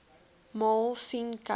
maal sien kyk